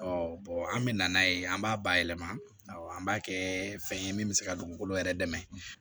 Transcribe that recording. an bɛ na n'a ye an b'a bayɛlɛma awɔ an b'a kɛ fɛn ye min bɛ se ka dugukolo yɛrɛ dɛmɛ